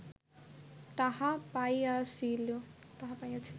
তাহা পাইয়াছিল